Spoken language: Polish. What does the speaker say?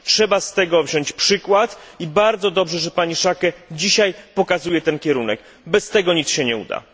Trzeba z tego wziąć przykład i bardzo dobrze, że pani Schaake dzisiaj pokazuje ten kierunek. Bez tego nic się nie uda.